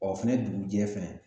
Ɔ fɛnɛ dugujɛ fɛnɛ